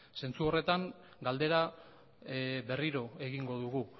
zentzu horretan galdera berriro egingo dugu